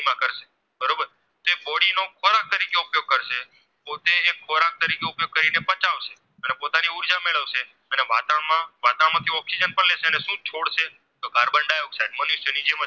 Oxygen પણ લેશે અને શું છોડશે તો Carbon Dioxide